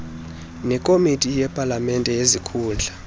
nekomiti yepalamente yezikhundla